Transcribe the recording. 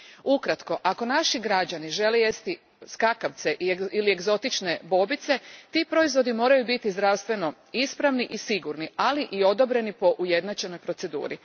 Ukratko, ako naši građani žele jesti skakavce ili egzotične bobice, ti proizvodi moraju biti zdravstveno ispravni i sigurni, ali i odobreni po ujednačenoj proceduri.